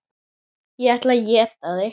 Ég ætla að éta þig.